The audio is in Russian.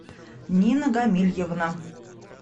нина гамильевна